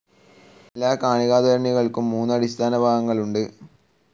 എല്ലാ കണികാത്വരണികൾക്കും മൂന്ന് അടിസ്ഥാന ഭാഗങ്ങൾ ഉണ്ട്.